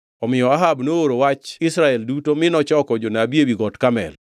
Omiyo Ahab nooro wach e Israel duto mi nochoko jonabi ewi Got Karmel.